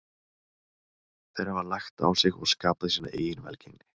Þeir hafa lagt á sig og skapað sína eigin velgengni.